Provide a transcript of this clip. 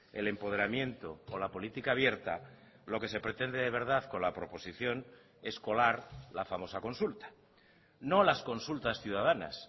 el empoderamiento o la política abierta lo que se pretende de verdad con la proposición es colar la famosa consulta no las consultas ciudadanas